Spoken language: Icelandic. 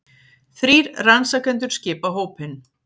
Þrír rannsakendur skipa hópinn